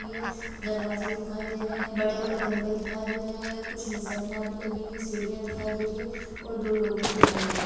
ये दरवाजे दिखाई दे रहे बड़े-बड़े खम्बे दिखाई दे रहे है कुछ निसन्या भी लगी हुई है सीढ़िया दिखाई दे रही है और दो लोग भी दिखाई दे रहे --